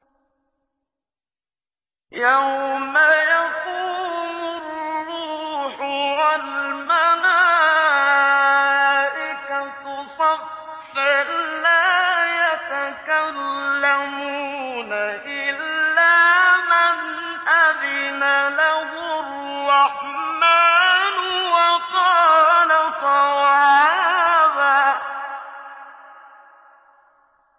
يَوْمَ يَقُومُ الرُّوحُ وَالْمَلَائِكَةُ صَفًّا ۖ لَّا يَتَكَلَّمُونَ إِلَّا مَنْ أَذِنَ لَهُ الرَّحْمَٰنُ وَقَالَ صَوَابًا